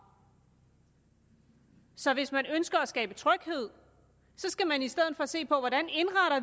så hvis man ønsker at skabe tryghed skal man i stedet se på hvordan